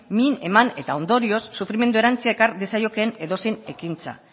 min eman eta ondorioz sufrimendu erantsia ekar diezaiokeen edozein ekintza